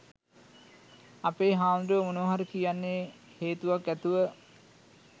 අපේ හාමුදුරුවෝ මොනවා හරි කියන්නේ හේතුවක් ඇතුව.